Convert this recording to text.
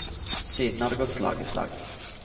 Siden har det gått slag i slag.